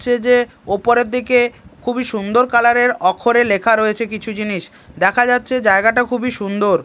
যাচ্ছে যে ওপরের দিকে খুবই সুন্দর কালার -এর অক্ষরে লেখা রয়েছে কিছু জিনিস দেখা যাচ্ছে জায়গাটা খুবই সুন্দর।